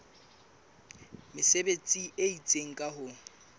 mesebetsi e itseng ka ho